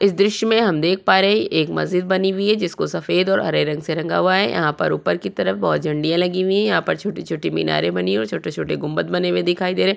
इस दृश्य में हम देख पा रहे एक मस्जिद बनी हुई है जिसको सफ़ेद और हरे रंग से रंगा हुआ है यहाँ पर ऊपर की तरफ बहौत झंडियां लगी हुई हैं यहाँ पर छोटी-छोटी मीनारे बनी हुई है और छोटे-छोटे गुम्बद बने हुए दिखाई दे रहे हैं।